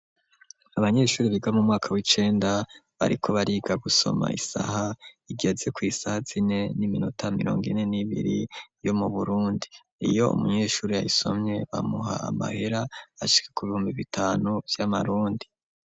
Abanyeshuri biga mu mwaka w'icenda bariko bariga gusoma isaha igeze ku isaha zine n'iminota mirongo ineni ibiri yo mu burundi iyo umunyeshuri aisomye bamuha amahera ashike ku bihumbi bitanu by'amarundi.